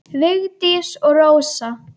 Vigdís og Rósa.